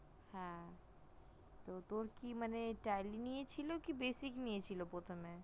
হ্যা তোর কি মানে tally নিয়ে ছিল না basic নিয়ে প্রথমে